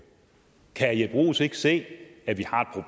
kan herre jeppe bruus ikke se at vi